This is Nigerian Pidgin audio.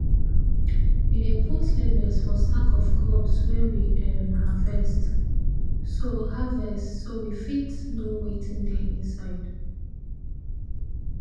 we dey put labels for sack of crops wey we um harvest so harvest so we fit know wetin dey inside